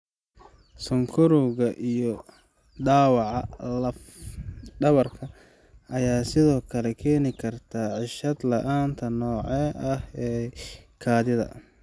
Sonkorowga iyo dhaawaca laf dhabarta ayaa sidoo kale keeni kara ceshad la'aanta noocan ah ee kaadida.